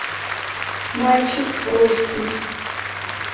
мальчик русский